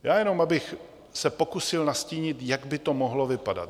Já jen abych se pokusil nastínit, jak by to mohlo vypadat.